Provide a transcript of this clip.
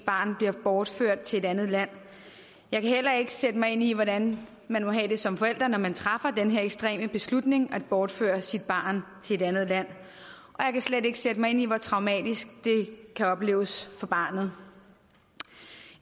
barn bliver bortført til et andet land jeg kan heller ikke sætte mig ind i hvordan man må have det som forælder når man træffer den her ekstreme beslutning at bortføre sit barn til et andet land og jeg kan slet ikke sætte mig ind i hvor traumatisk det kan opleves for barnet